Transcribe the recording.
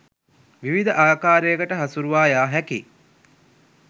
විවිධ ආකාරයකට හසුරුවා යා හැකියි.